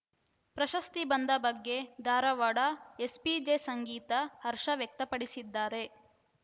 ಪ್ರಶಸ್ತಿ ಬಂದ ಬಗ್ಗೆ ಧಾರವಾಡ ಎಸ್‌ಪಿ ಜೆ ಸಂಗೀತಾ ಹರ್ಷ ವ್ಯಕ್ತಪಡಿಸಿದ್ದಾರೆ